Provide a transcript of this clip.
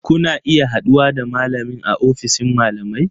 Kuna iya haɗuwa da malamin a ofishin malamai